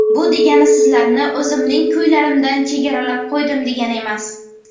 Bu degani sizlarni o‘zimning kuylarimdan chegaralab qo‘ydim degani emas.